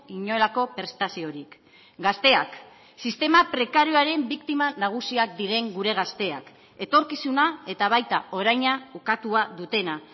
inolako prestaziorik gazteak sistema prekarioaren biktima nagusiak diren gure gazteak etorkizuna eta baita oraina ukatua dutena